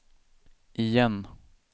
igen